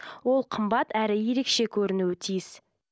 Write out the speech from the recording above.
ол қымбат әрі ерекше көрінуі тиіс